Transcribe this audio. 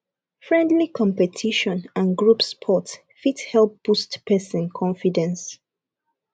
friendly competition and group sport fit help boost person confidence